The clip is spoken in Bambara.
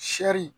Sɛri